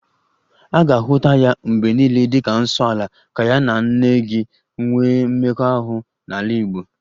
A ga-ahụta ya mgbe niile dịka 'nsoala' ka ya na nne gị nwee mmekọahụ n'ala Igbo